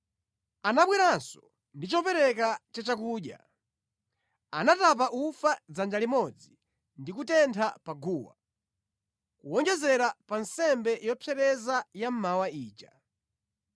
Anabweranso ndi chopereka cha chakudya. Anatapa ufa dzanja limodzi ndi kutentha pa guwa, kuwonjezera pa nsembe yopsereza ya mmawa ija.